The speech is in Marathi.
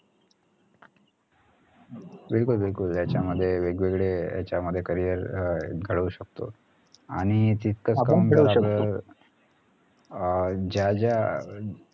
बिलकुल बिलकुल याच्यामध्ये वेगवेगळे यांच्यामध्ये carrier अं घडवू शकतो आणि अं ज्या ज्या